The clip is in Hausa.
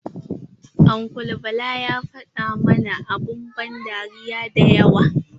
Uncle bala ya fada mana abun ban dariya dayawa.